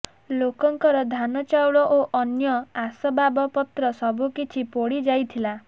ଲୋକଙ୍କର ଧାନ ଚାଉଳ ଓ ଅନ୍ୟ ଆସବାବପତ୍ର ସବୁକିଛି ପୋଡ଼ି ଯାଇଥିଲା